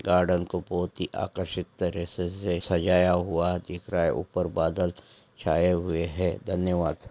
Garden को बहुत ही आकर्षित तरे-से से सजाया हुआ दिख रहा है उपर बादल छाए हुए है धन्यवाद।